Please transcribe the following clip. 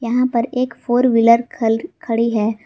यहां पर एक फोर व्हीलर खल खड़ी है।